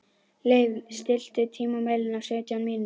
Leif, stilltu tímamælinn á sautján mínútur.